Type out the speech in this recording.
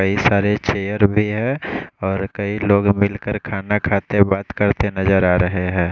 कई सारे चेयर भी है और कई लोग मिलकर खाना खाते बात करते नज़र आरहे है।